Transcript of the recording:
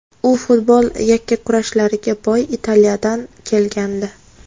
U futboli yakkakurashlarga boy Italiyadan kelgandi.